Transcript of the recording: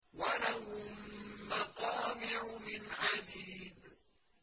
وَلَهُم مَّقَامِعُ مِنْ حَدِيدٍ